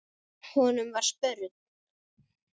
Honum var spurn.